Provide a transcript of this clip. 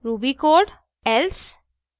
ruby code else